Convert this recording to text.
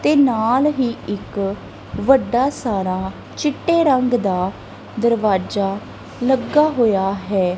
ਤੇ ਨਾਲ ਹੀ ਇੱਕ ਵੱਡਾ ਸਾਰਾ ਚਿੱਟੇ ਰੰਗ ਦਾ ਦਰਵਾਜਾ ਲੱਗਾ ਹੋਇਆ ਹੈ।